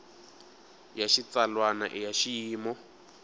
ya xitsalwana i ya xiyimo